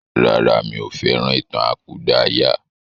Rárá, mí ò fẹ́ràn ìtàn àkúdàáyà.